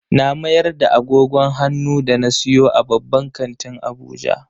Na mayar da agogon hannu da na siyo a babban kantin Abuja.